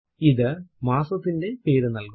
ഇത് മാസത്തിന്റെ പേരു നൽകുന്നു